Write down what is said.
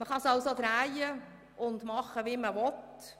Man kann es drehen und wenden, wie man will: